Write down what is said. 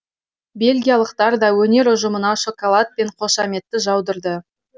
бельгиялықтар да өнер ұжымына шоколад пен қошаметті жаудырды